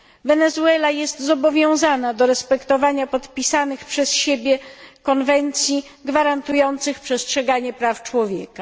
Wenezuela jest zobowiązana do respektowania podpisanych przez siebie konwencji, gwarantujących przestrzeganie praw człowieka.